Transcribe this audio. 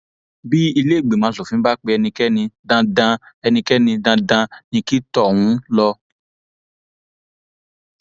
bí iléìgbìmọ asòfin bá pe ẹnikẹni dandan ẹnikẹni dandan ní kí tọhún lọ